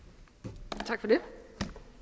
tak vi